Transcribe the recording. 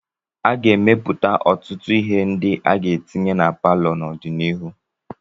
A ga-emepụta ọtụtụ ihe ndị aga na-etinye na palọ n'ọdịnihu.